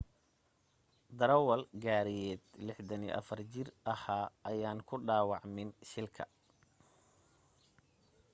darawal gaariyeed 64 jira ahaa ayaan ku dhawaacmin shilka